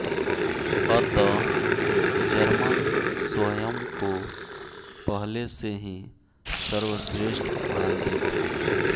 अतः जर्मन स्वयं को पहले से ही सर्व श्रेष्ठ मानते थे